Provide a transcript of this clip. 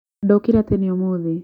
ndokĩra tene umuthĩ